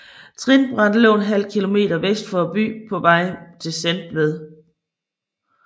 Trinbrættet lå ½ km vest for byen på vejen til Sentved